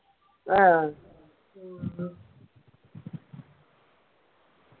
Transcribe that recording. ആ ഉം